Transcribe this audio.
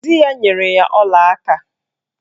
Di ya nyere ya olaaka